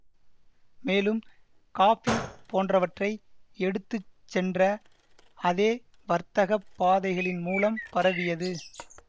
மேலும் காஃபி போன்றவற்றை எடுத்து சென்ற அதே வர்த்தக பாதைகளின் மூலம் பரவியது